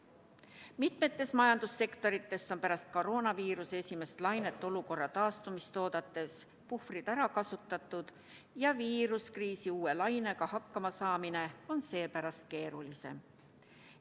Mitmes majandussektoris on pärast koroonaviiruse esimest lainet olukorra taastumist oodates puhvrid ära kasutatud ja viirusekriisi uue lainega hakkama saamine on seepärast keeruline.